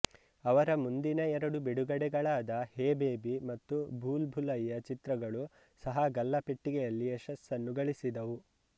ಅವರ ಮುಂದಿನ ಎರಡು ಬಿಡುಗಡೆಗಳಾದ ಹೇ ಬೇಬಿ ಮತ್ತು ಭೂಲ್ ಭುಲಯ್ಯಾ ಚಿತ್ರಗಳೂ ಸಹ ಗಲ್ಲಾ ಪೆಟ್ಟಿಗೆಯಲ್ಲಿ ಯಶಸ್ಸನ್ನು ಗಳಿಸಿದವು